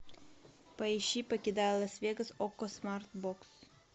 поищи покидая лас вегас окко смарт бокс